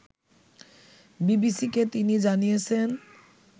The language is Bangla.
বিবিসিকে তিনি জানিয়েছেন